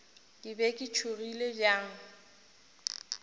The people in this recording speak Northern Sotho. ke be ke tšhogile bjang